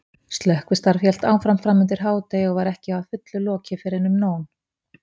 Slökkvistarf hélt áfram framundir hádegi og var ekki að fullu lokið fyrren um nón.